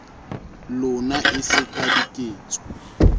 lona e se ka diketso